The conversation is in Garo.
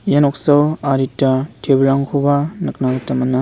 ia noksao adita table-rangkoba nikna gita man·a.